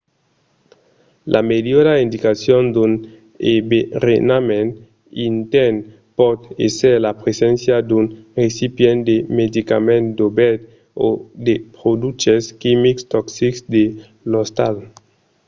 la melhora indicacion d'un enverenament intèrn pòt èsser la preséncia d'un recipient de medicaments dobèrt o de produches quimics toxics de l'ostal